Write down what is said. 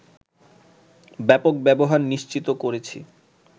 ব্যাপক ব্যবহার নিশ্চিত করেছি